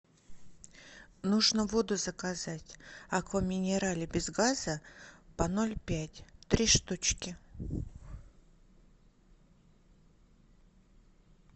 нужно воду заказать аква минерале без газа по ноль пять три штучки